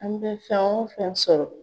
An bɛ fɛn o fɛn sɔrɔ